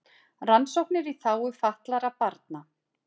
Rannsóknir í þágu fatlaðra barna